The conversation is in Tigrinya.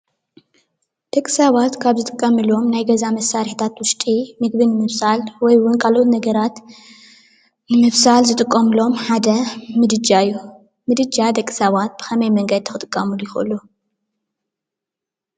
ደቂ ሰባት ካብ ዝጥቀምሎም ናይ ገዛ መሳርሕታት ዉሽጢ ምግቢ ንምብሳል ወይ እዉን ካልኦት ነገራት ንምብሳል ዝጥቀምሎም ሓደ ምድጃ እዩ። ምድጃ ደቂ ሰባት ብኸመይ መንገዲ ክጥቀምሉ ይኽእሉ?